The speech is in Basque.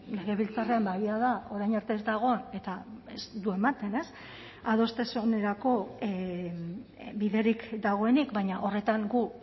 legebiltzarrean egia da orain arte ez dagoen eta ez du ematen ez adostasunerako biderik dagoenik baina horretan gu